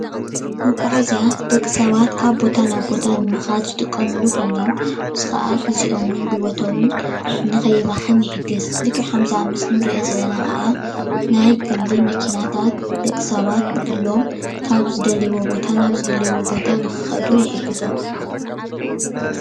መጓዓዝያ ንደቂ ሰባት ካብ ቦታ ናብ ቦታ ንምካድ ዝጥቀምሉ ኮይኖም እዚ ከዓ ግዚኦምን ጉልበቶምን ንከይባክን ይሕግዝ፡፡ ልክዕ ከምዚ ኣብ ምስሊ እንሪኦ ዘለና ከዓ ናይ ግሊ መኪናታት ደቂ ሰባት ብግሎም ካብ ዝደልይዎ ቦታ ናብ ዝደልይዎ ቦታ ንክከዱ ይሕግዞም፡፡